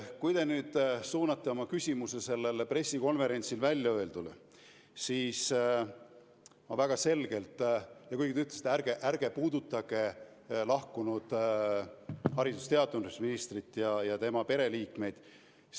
Te suunasite oma küsimuse sellel pressikonverentsil väljaöeldule ja ütlesite, et ärge ärge puudutage ametist lahkunud haridus- ja teadusministrit ja tema pereliikmeid.